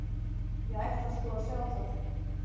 Ég ætla sko að sjá það.